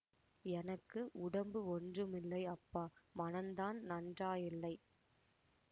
எனக்கு உடம்பு ஒன்றுமில்லை அப்பா மனந்தான் நன்றாயில்லை